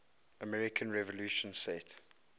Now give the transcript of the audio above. american revolution set